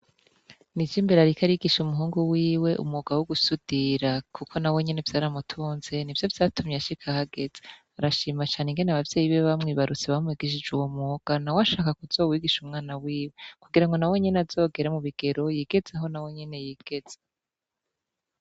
Ni ijo imbere ariki arigisha umuhungu wiwe umugawo w' ugusudira, kuko na we nyene vyaramutunze ni vyo vyatumye ashika ahageza arashima cane ingene abavyeyi biwe bamwibarutse bamwegishije uwo muga na we ashaka kuzowigisha umwana wiwe kugira ngo na we nyene azogera mu bigero yigezeho na we nyene yigeze.